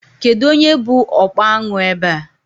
Kedụ onye bụ ọkpa añụ ebe a?